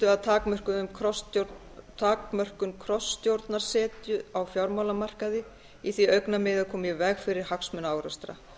að takmörkun krossstjórnarsetu á fjármálamarkaði í því augnamiði að koma í veg fyrir hagsmunaárekstra